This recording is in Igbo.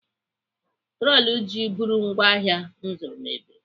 Troli ji bụrụ ngwaahịa m zụrụ mebiri.